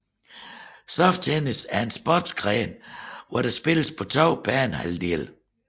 Soft tennis er en sportsgren hvor der spilles på to banehalvdele